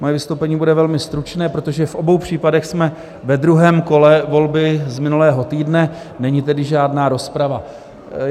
Moje vystoupení bude velmi stručné, protože v obou případech jsme ve druhém kole volby z minulého týdne, není tedy žádná rozprava.